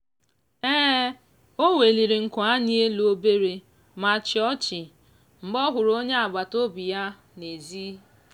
o weliri nku anya elu obere ma chịa ọchị mgbe ọ hụrụ onye agbataobi ya n'ezi.